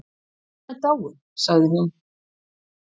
Anna er dáin sagði hún.